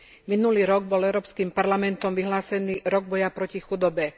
Minulý rok bol Európskym parlamentom vyhlásený rok boja proti chudobe.